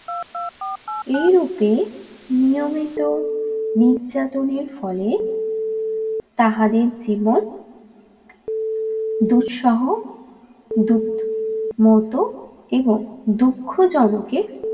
এইরূপে নিয়মিত নির্যাতনের ফলে তাহাদের জীবন দুঃসহ দূত মত এবং দুঃখজনকে